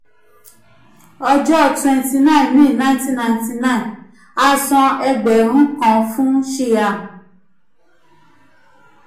ọjọ́ 29 may 1999 a san ẹgbẹ̀rún kan fún shyam.